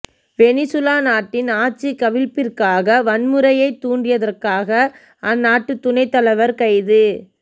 Venezuela நாட்டின் ஆட்சிகவிழ்ப்பிற்காக வன்முறையை தூண்டியதற்காக அந்நாட்டு துணை தலைவர் கைது